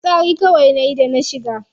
Fitsari kawai nayi da na shiga.